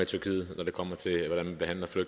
tyrkiet